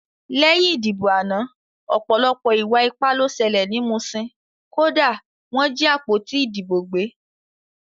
Lẹ́yìn ìdìbò àná ọ̀pọ̀lọpọ̀ ìwà ipá ló ṣẹlẹ̀ ní Muṣin, kódà wọ́n jí àpótí ìdìbò gbé